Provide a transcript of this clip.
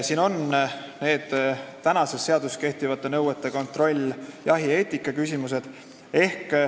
Siin on olemas seaduses kehtivate nõuete kontroll ja jahieetika küsimused.